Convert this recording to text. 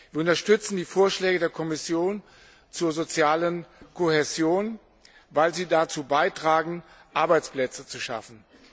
Wir unterstützen die Vorschläge der Kommission zur sozialen Kohäsion, weil sie dazu beitragen, Arbeitsplätze zu schaffen.